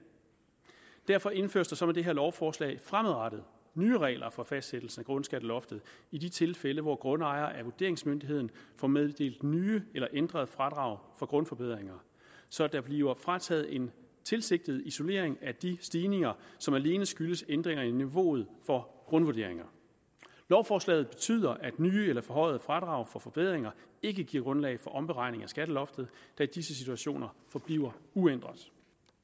derfor indføres der så med det her lovforslag fremadrettet nye regler for fastsættelse af grundskatteloftet i de tilfælde hvor grundejere af vurderingsmyndigheden får meddelt nye eller ændrede fradrag for grundforbedringer så der bliver frataget en tilsigtet isolering af de stigninger som alene skyldes ændringer i niveauet for grundvurderinger lovforslaget betyder at nye eller forhøjede fradrag for forbedringer ikke giver grundlag for omberegning af skatteloftet da disse situationer forbliver uændret